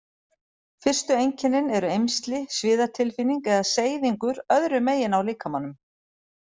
Fyrstu einkennin eru eymsli, sviðatilfinning eða seyðingur öðru megin á líkamanum.